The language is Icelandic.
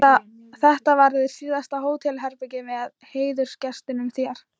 Þetta verður síðasta hótelherbergið með heiðursgestinum þér.